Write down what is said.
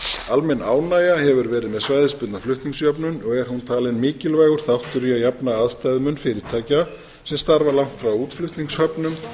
almenn ánægja hefur verið með svæðisbundna flutningsjöfnun og er hún talin mikilvægur þáttur í að jafna aðstæðumunfyrirtækja sem starfa langt frá útflutningshöfnum